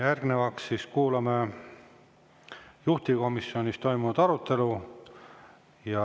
Järgnevalt kuulame juhtivkomisjonis toimunud arutelu.